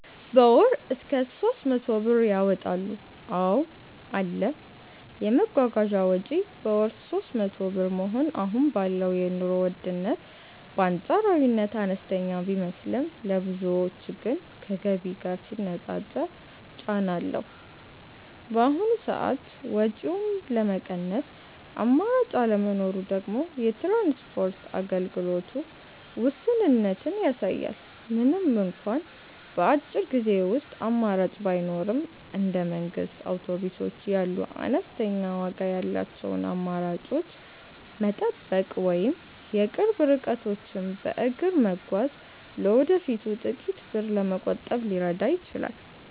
በ ወር እስከ 300 ብር ያወጣሉ ,አዎ አለ, የመጓጓዣ ወጪ በወር 300 ብር መሆኑ አሁን ባለው የኑሮ ውድነት በአንፃራዊነት አነስተኛ ቢመስልም፣ ለብዙዎች ግን ከገቢ ጋር ሲነፃፀር ጫና አለው። በአሁኑ ሰዓት ወጪውን ለመቀነስ አማራጭ አለመኖሩ ደግሞ የትራንስፖርት አገልግሎቱ ውስንነትን ያሳያል። ምንም እንኳን በአጭር ጊዜ ውስጥ አማራጭ ባይኖርም፣ እንደ መንግስት አውቶቡሶች ያሉ አነስተኛ ዋጋ ያላቸውን አማራጮች መጠበቅ ወይም የቅርብ ርቀቶችን በእግር መጓዝ ለወደፊቱ ጥቂት ብር ለመቆጠብ ሊረዳ ይችላል።